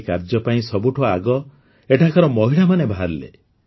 ଏହି କାର୍ଯ୍ୟ ପାଇଁ ସବୁଠୁ ଆଗ ଏଠାକାର ମହିଳାମାନେ ବାହାରିଲେ